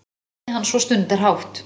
mælti hann svo stundarhátt.